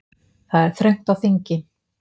Það er þröngt á þingi